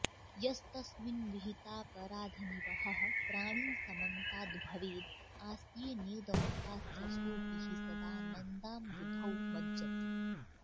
यस्तस्मिन् विहितापराधनिवहः प्राणी समन्ताद् भवेद् आस्येनेदमुपास्य सोऽपि हि सदानन्दाम्बुधौ मज्जति